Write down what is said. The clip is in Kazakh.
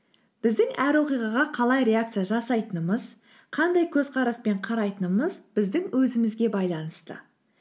біздің әр оқиғаға қалай реакция жасайтынымыз қандай көзқараспен қарайтынымыз біздің өзімізге байланысты